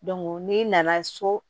n'i nana so